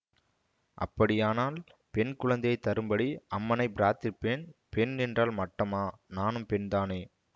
அப்படியானால் பெண் குழந்தையே தரும்படி அம்மனைப் பிரார்த்திப்பேன் பெண் என்றால் மட்டமா நானும் பெண்தானே